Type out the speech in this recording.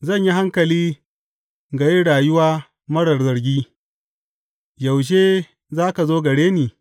Zan yi hankali ga yin rayuwa marar zargi, yaushe za ka zo gare ni?